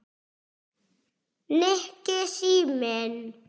Nikki, síminn